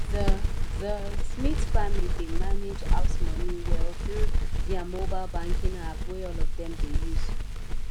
the the smith family dey manage house money well through their mobile banking app wey all of dem dey use